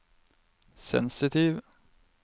sensitiv